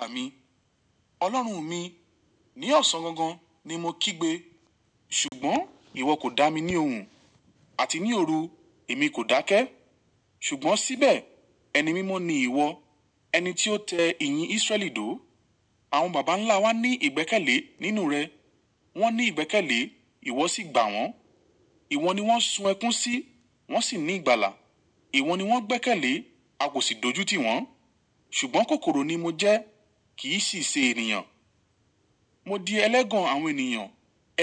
Àmi. Ọlọ́run mi, ní ọ̀sán gangan ni mo kígbe. Ṣùgbọ́n ìwọ kò dá mi ní ohùn, àti ní òru, èmi kò dákẹ́. Ṣùgbọ́n síbẹ̀, ẹni mímọ́ ni ìwọ, ẹni tí ó tẹ ìyìn Israel dóò. Àwọn baba ńlá wa ní ìgbẹ́kẹ̀lé nínú rẹ, wọ́n ní ìgbẹ́kẹ̀lé, ìwọ sì gbà wọ́n. Ìwọ ni wọ́n sun ẹkún sí, wọ́n sì ní ìgbàlà. Ìwọ ni wọ́n gbẹ́kẹ̀lé, a kò sì dojú tiwọn. Ṣùgbọ́n kòkòrò ni mo jẹ́, kì í sì ṣe ènìyàn. Mo di ẹlẹ́gàn àwọn ènìyàn,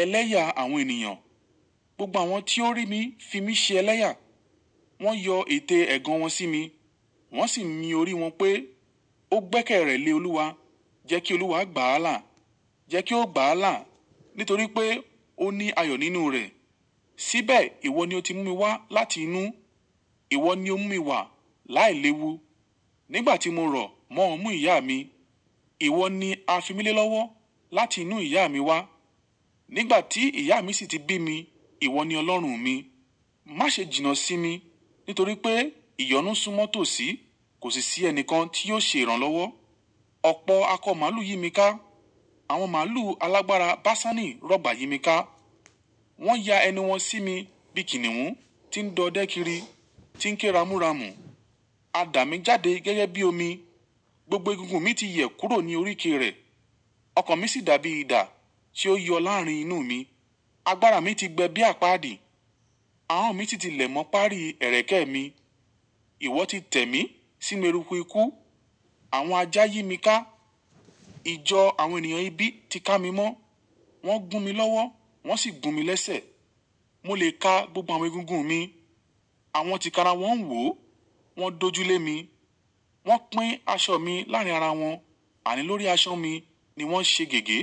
ẹlẹ́yà àwọn ènìyàn. Gbogbo àwọn tí ó rí mi fi mí ṣe ẹlẹ́yà. Wọ́n yọ ète ẹ̀gàn wọn sí mi, wọ́n sì ń mi orí wọn pé, "Ó gbẹ́kẹ̀rẹ́ lé Olúwa, jẹ́ kí Olúwa gbà á là. Jẹ́ kí ó gbà á là, nítorí pé ó ní ayọ̀ nínú rẹ̀." Síbẹ̀ ìwọ ni o ti mú mi wá láti inú. Ìwọ ni ó mú mi wà láìléwu. Nígbà tí mo rọ̀ mọ́ ọmú ìyá mi, ìwọ ni a fi mí lé lọ́wọ́ láti inú ìyá mi wá. Nígbà tí ìyá mi sì ti bí mi, ìwọ ni Ọlọ́run mi. Má ṣe jìnnà sí mi, nítorí pé ìyọnu súnmọ́ tòsí, kò sì sí ẹni kan tí yóò ṣe ìrànlọ́wọ́. Ọ̀pọ̀ akọ màlú yí mi ká, àwọn màlú alágbára Baṣani rọ̀gbà yí mi ká. Wọ́n ya ẹni wọn sí mi bí kìnnìún tí ń dọ dodẹ́kìrí, tí ń kéramúramú. Àdá mi jáde gẹ́gẹ́ bí omi, gbogbo egungun mi ti yẹ̀ kúrò ní oríke rẹ̀. Ọkàn mi sì dàbí idà tí ó yọ láàrin inú mi. Agbára mi ti gbẹ bí àpáàdì, ahọ́n mi sì ti lẹ̀ mọ́ páàrí ẹ̀rẹ̀kẹ́ mi. Ìwọ ti tẹ̀ mí sínu eruku ikú, àwọn ajá yí mi ká, ìjọ àwọn ènìyàn ibi ti ká mi mọ́. Wọ́n gún mi lọ́wọ́, wọ́n sì gun mi lẹ́sẹ̀. Mo lè ka gbogbo àwọn egungun mi, àwọn ti kara wọ́n wò, wọ́n dojú lé mi. Wọ́n pín aṣọ mi láàrin ara wọn, àní lórí aṣọ mi ni wọ́n ṣe gègé.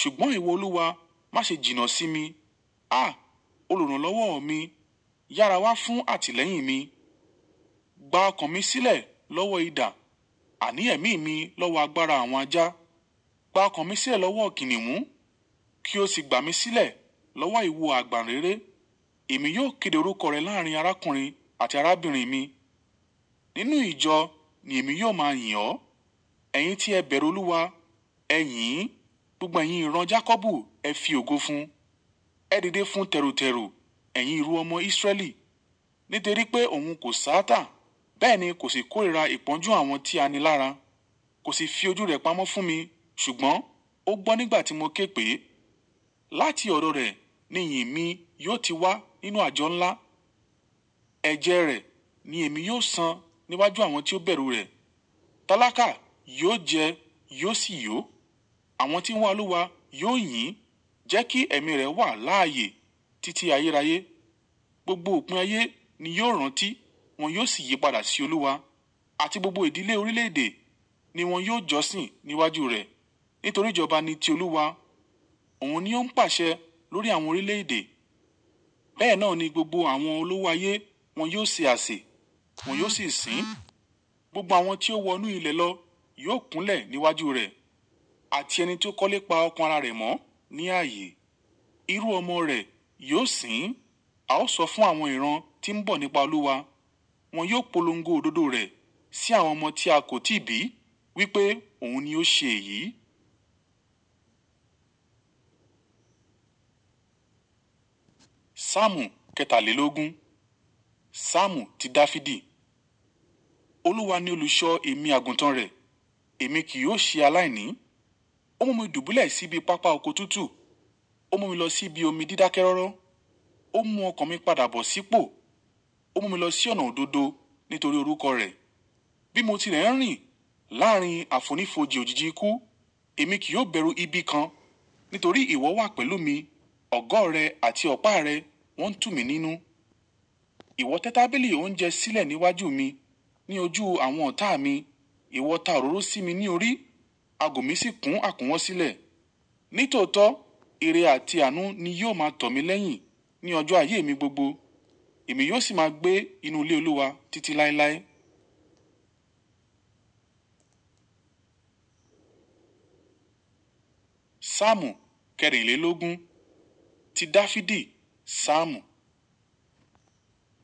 Ṣùgbọ́n ìwọ Olúwa, má ṣe jìnnà sí mi. À! Olùrànlọ́wọ́ mi, yára wá fún àtìlẹ́yìn mi. Gba ọkàn mi sílẹ̀ lọ́wọ́ idà, àní ẹ̀mí mi lọ́wọ́ agbára àwọn ajá. Gba ọkàn mi sílẹ̀ lọ́wọ́ kìnnìún, kí o sì gbà mí sílẹ̀ lọ́wọ́ ìwú àgbàǹréré. Èmi yóò kéde orúkọ rẹ láàrin arákùnrin àti arábìnrin mi. Nínú ìjọ ni èmi yóò máa yìn ọ́. Ẹ̀yin tí ẹ bẹ̀rù Olúwa, ẹ yìn. Gbogbo ẹyin ìran Jakọbu, ẹ fi ògo fún. Ẹ dìde fún tẹ̀rùtẹ̀rù ẹ̀yin irú ọmọ Israẹli. Nítorí pé òun kò sáàtà, bẹ́ẹ̀ ni kò sì kórìíra ìpọ́njú àwọn tí a ni lára. Kò sì fi ojú rẹ̀ pamọ́ fún mi, ṣùgbọ́n ó gbọ́ nígbà tí mo ké pè é. Láti ọ̀dọ̀ rẹ̀ ni ìyìn mi yóò ti wá nínú àjọ ńlá. Ẹ̀jẹ̀ rẹ̀ ni èmi yóò san níwájú àwọn tí ó bẹ̀rù rẹ̀. Tálákà yóò jẹ́, yóò sì yó. Àwọn tí ń mú àlúwa yóò yìn. Jẹ́ kí ẹ̀mí rẹ̀ wà láààyè títí ayérayé. Gbogbo òpin ayé ni yóò rántí, wọn yóò sì yípadà sí Olúwa. Àti gbogbo ìdílé orílẹ̀-èdè ni wọn yóò jọ́sìn níwájú rẹ̀. Nítorí ìjọba ni ti Olúwa, òun ni ó ń pàṣẹ lórí àwọn orílẹ̀-èdè. Bẹ́ẹ̀ náà ni gbogbo àwọn olúwa ayé wọn yóò ṣe àsè, wọn yóò sì sìn ín. Gbogbo àwọn tí ó wọ inú ilẹ̀ lọ yóò kúnlẹ̀ níwájú rẹ̀. Àti ẹni tí ó kọ́lé pa ọkàn ara rẹ̀ mọ́ ní ààyè, irú ọmọ rẹ̀ yóò sìn ín. A ó sọ fún àwọn ìran tí ń bọ̀ nípa Olúwa. Wọn yóò polongo òdodo rẹ̀ sí àwọn ọmọ tí a kò tíì bí wípé òun ni ó ṣe èyí. Súàmù kẹtàlélógún. Súàmù ti Dafidi. Olúwa ni olùṣọ́ èmi àgùntàn rẹ̀, èmi kì yóò ṣe aláìní. Ó mú mi dùbúlẹ̀ síbi pápá oko tútù, ó mú mi lọ sí ibi omi dídákẹ́ rọ́rọ́. Ó mú ọkàn mi padà bọ̀ sípò, ó mú mi lọ sí ọ̀nà òdodo nítorí orúkọ rẹ̀. Bí mo ti ẹ́ ń rìn láàrin àfonífojì òjìji ikú, èmi kì yóò bẹ̀rù ibi kan. Nítorí ìwọ wà pẹ̀lú mi, ọ̀gọ́ rẹ àti ọ̀pá rẹ wọ́n ń tù mí nínú. Ìwọ tẹ́ tábìlì oúnjẹ sílẹ̀ níwájú mi ní ojú àwọn ọ̀tá mi. Ìwọ ta òróró sí mi ní orí, ago mi sì kún àkúnwọ́ sílẹ̀. Nítòótọ́, ère àti àánú ni yóò máa tọ̀ mí lẹ́yìn ní ọjọ́ ayé mi gbogbo. Èmi yóò sì máa gbé inú ilé Olúwa títí láéláé. Súàmù kẹ́rìnlélógún. Ti Dafidi. Súàmù.